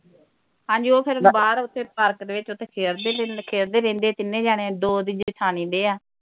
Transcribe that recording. ਹਾਂਜੀ ਓਹ ਫਿਰ ਬਾਹਰ ਉਥੇ ਪਾਰਕ ਦੇ ਵਿਚ ਉਥੇ ਖੇਲਦੇ ਰਹਿੰਦੇ ਖੇਲਦੇ ਰਹਿੰਦੇ ਤਿੰਨੇ ਜਾਣੇ ਦੋ ਉਹਦੀ ਜੇਠਾਣੀ ਦੇ ਆ